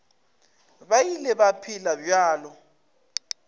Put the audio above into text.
ba ile ba phela bjalo